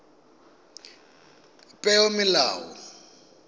peomolao